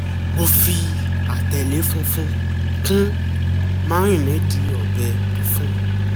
mo fi àtẹ̀l̀è funfun kun márínéèdì ọbẹ tófù